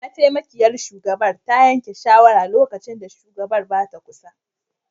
Mataimakiyar shugabar ta yanke shawara lokacin da shugabar ba ta kusa